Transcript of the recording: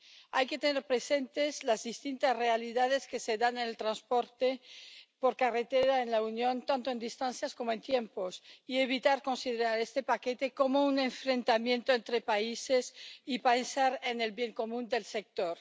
Hay que tener presentes las distintas realidades que se dan en el transporte por carretera en la Unión, tanto en distancias como en tiempos, y evitar considerar este paquete como un enfrentamiento entre países y pensar en el bien común del sector.